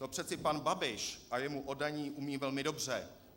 To přeci pan Babiš a jemu oddaní umějí velmi dobře.